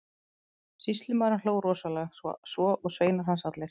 Sýslumaður hló rosalega, svo og sveinar hans allir.